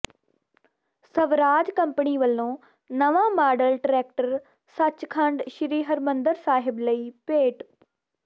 Swaraj company ਵੱਲੋਂ ਨਵਾਂ model tractor Sachkhand Sri Harmandir Sahib ਲਈ ਭੇਟ